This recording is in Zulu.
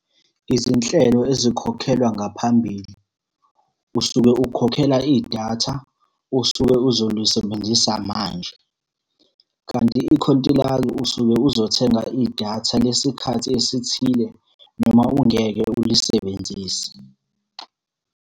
Izinhlelo ezikhokhelwa ngaphambili. Usuke ukhokhela idatha, osuke uzolisebenzisa manje. Kanti ikhontilaki usuke uzothenga idatha lesikhathi esithile noma ungeke ulisebenzise.